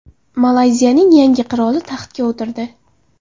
Malayziyaning yangi qiroli taxtga o‘tirdi.